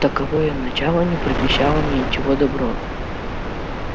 таковое начало не предвещало мне ничего доброго